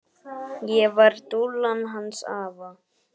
Ég var dúllan hans afa.